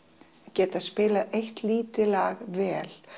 geta spilað eitt lítið lag vel